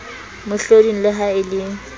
mohloding le ha e le